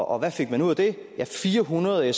og hvad fik man ud af det fire hundrede